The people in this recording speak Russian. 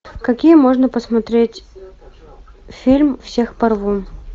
какие можно посмотреть фильм всех порву